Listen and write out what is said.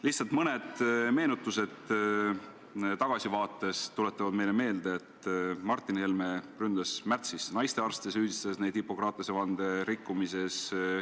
Aga tuletame tagasi vaadates meelde, kuidas Martin Helme märtsis naistearste ründas, süüdistades neid Hippokratese vande rikkumises.